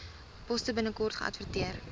poste binnekort geadverteer